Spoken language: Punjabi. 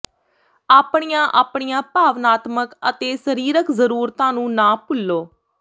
ਆਪਣੀਆਂ ਆਪਣੀਆਂ ਭਾਵਨਾਤਮਕ ਅਤੇ ਸਰੀਰਕ ਜ਼ਰੂਰਤਾਂ ਨੂੰ ਨਾ ਭੁੱਲੋ